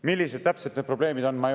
Millised täpselt need probleemid on?